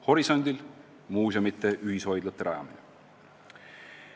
Horisondil on muuseumide ühishoidlate rajamine.